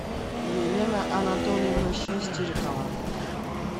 елена анатольевна шестерекова